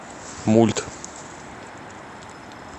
мульт